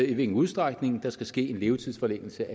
i hvilken udstrækning der skal ske en levetidsforlængelse